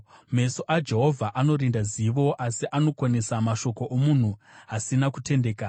Meso aJehovha anorinda zivo, asi anokonesa mashoko omunhu asina kutendeka.